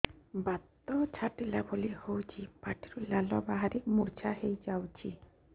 ବାତ ଛାଟିଲା ଭଳି ହଉଚି ପାଟିରୁ ଲାଳ ବାହାରି ମୁର୍ଚ୍ଛା ହେଇଯାଉଛି